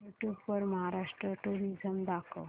YouTube वर Maharashtra tourism दाखव